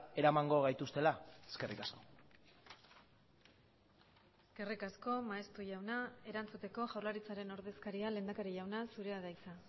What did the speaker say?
eramango gaituztela eskerrik asko eskerrik asko maeztu jauna erantzuteko jaurlaritzaren ordezkaria lehendakari jauna zurea da hitza